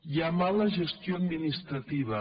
hi ha mala gestió administrativa